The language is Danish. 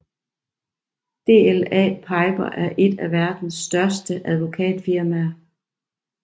DLA Piper er et af verdens største advokatfirmaer